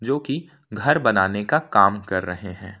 जो कि घर बनाने का काम कर रहे है।